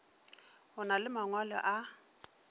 o na le mangwalo a